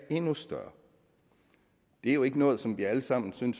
endnu større det er jo ikke noget som vi alle sammen som